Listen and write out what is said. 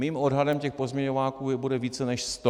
Mým odhadem těch pozměňováků bude více než sto.